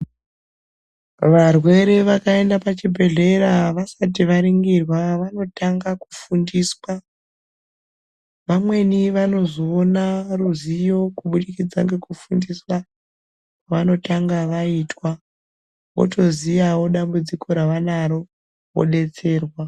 Varwere vakaendaa pachibhedhleyaa vasati varingirwaa vanotanga kufundiswaa, vamweni vanozoona ruzivo kubudikidza ngekufundiswaa kwavanotanga vaitwaa votoziyaavo dambudziko ravanaro vodetserwaa.